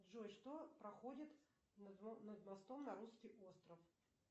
джой что проходит над мостом на русский остров